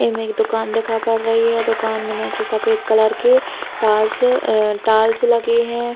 एमे एक दुकान देखा पड़ रही है। दुकान में नीचे सफ़ेद कलर के टाइल्स अ टाइल्स लगे हैं।